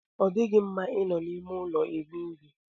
Ọ dịghị mma I nọ n'ime ụlọ eri nri.